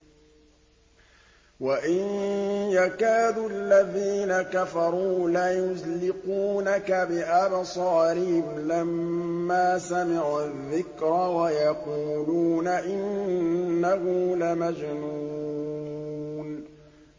وَإِن يَكَادُ الَّذِينَ كَفَرُوا لَيُزْلِقُونَكَ بِأَبْصَارِهِمْ لَمَّا سَمِعُوا الذِّكْرَ وَيَقُولُونَ إِنَّهُ لَمَجْنُونٌ